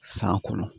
San kɔnɔ